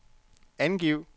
angiv